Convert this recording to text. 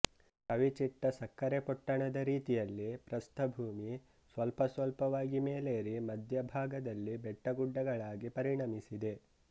ಕವಿಚಿಟ್ಟ ಸಕ್ಕರೆ ಪೊಟ್ಟಣದ ರೀತಿಯಲ್ಲಿ ಪ್ರಸ್ಥಭೂಮಿ ಸ್ವಲ್ಪ ಸ್ವಲ್ಪವಾಗಿ ಮೇಲೇರಿ ಮಧ್ಯ ಭಾಗದಲ್ಲಿ ಬೆಟ್ಟಗುಡ್ಡಗಳಾಗಿ ಪರಿಣಮಿಸಿದೆ